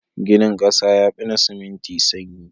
Ginin ƙasa yafi na siminti sanyi.